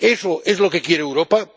¿Eso es lo que quiere Europa?